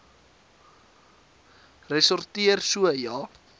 ressorteer so ja